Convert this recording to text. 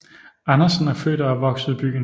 Andersen er født og opvokset i byen